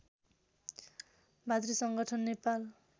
भातृ संगठन नेपाल